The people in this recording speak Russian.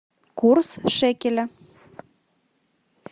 курс шекеля